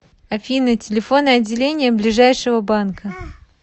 афина телефоны отделения ближайшего банка